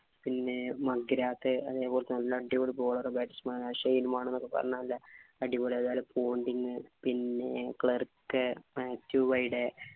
പിന്നെ അതുപോലെ അടിപൊളി bowlerbatsman എന്നൊക്കെ പറഞ്ഞാലേ അടിപൊളി അല്ലെ. അതുപോലെ പിന്നെ